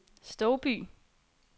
Stouby